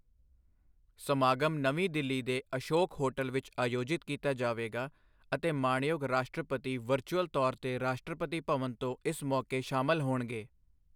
ਸਮਾਗਮ ਨਵੀਂ ਦਿੱਲੀ ਦੇ ਅਸ਼ੋਕ ਹੋਟਲ ਵਿਚ ਆਯੋਜਿਤ ਕੀਤਾ ਜਾਵੇਗਾ ਅਤੇ ਮਾਣਯੋਗ ਰਾਸ਼ਟਰਪਤੀ ਵਰਚੁਅਲ ਤੌਰ ਤੇ ਰਾਸ਼ਟਰਪਤੀ ਭਵਨ ਤੋਂ ਇਸ ਮੌਕੇ ਸ਼ਾਮਿਲ ਹੋਣਗੇ।